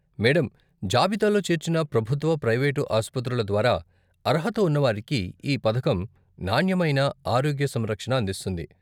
Madam, జాబితాలో చేర్చిన ప్రభుత్వ, ప్రైవేటు ఆస్పత్రుల ద్వారా అర్హత ఉన్న వారికి ఈ పథకం నాణ్యమైన ఆరోగ్య సంరక్షణ అందిస్తుంది.